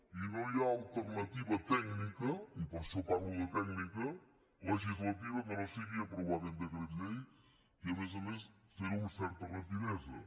i no hi ha alternativa tècnica i per això parlo de tècnica legislativa que no sigui aprovar aquest decret llei i a més a més fer ho amb certa rapidesa